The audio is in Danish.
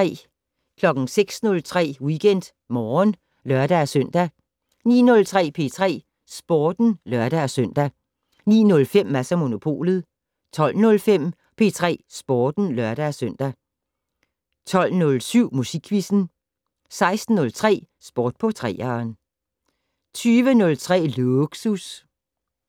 06:03: WeekendMorgen (lør-søn) 09:03: P3 Sporten (lør-søn) 09:05: Mads & Monopolet 12:05: P3 Sporten (lør-søn) 12:07: Musikquizzen 16:03: Sport på 3'eren 20:03: Lågsus